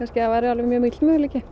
að það væru miklir möguleikar